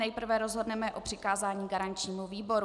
Nejprve rozhodneme o přikázání garančnímu výboru.